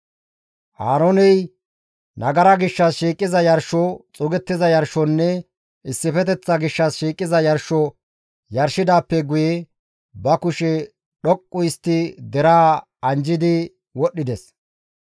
Aarooney nagara gishshas shiiqiza yarsho, xuugettiza yarshonne issifeteththa gishshas shiiqiza yarsho yarshidaappe guye ba kushe dhoqqu histtidi deraa anjjidi wodhdhides.